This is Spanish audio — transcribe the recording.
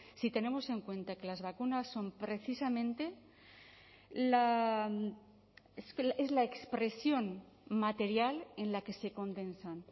si tenemos en cuenta que las vacunas son precisamente la expresión material en la que se condensan